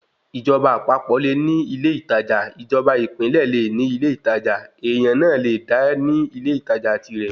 Ìjọba àpapọ̀ le ní ilé ìtajà, ìjọba ìpínlẹ̀ le ní ilé ìtajà, èèyàn náà le dá ní ilé ìtajà tirẹ̀